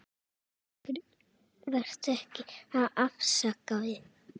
Vertu ekki að afsaka þig.